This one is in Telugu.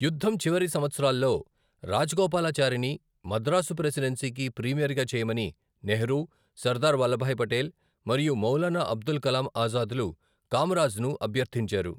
యుద్ధం చివరి సంవత్సరాల్లో, రాజగోపాలాచారిని మద్రాసు ప్రెసిడెన్సీకి ప్రీమియర్గా చేయమని నెహ్రూ, సర్దార్ వల్లభాయ్ పటేల్ మరియు మౌలానా అబుల్ కలాం ఆజాద్లు కామరాజ్ను అభ్యర్థించారు.